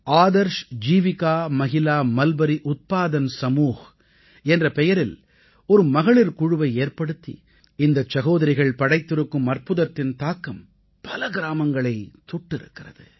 Adarsh Jeevika Mahila mulberry Utpadan Samuh என்ற பெயரில் ஒரு மகளிர் குழுவை ஏற்படுத்தி இந்தச் சகோதரிகள் படைத்திருக்கும் அற்புதத்தின் தாக்கம் பல கிராமங்களைத் தொட்டிருக்கிறது